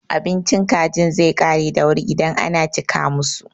Abincin kajin zai ƙare da wuri idan ana cika musu.